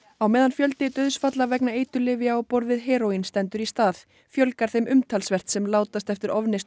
á meðan fjöldi dauðsfalla vegna eiturlyfja á borð við heróín stendur í stað fjölgar þeim umtalsvert sem látast eftir ofneyslu